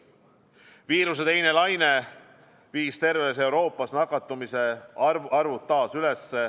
Viiruse teine laine viis terves Euroopas nakatumisarvud taas üles.